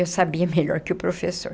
Eu sabia melhor que o professor.